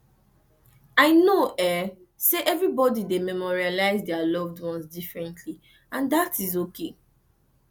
i know say everybody dey memorialize dia loved ones differently and dat is okay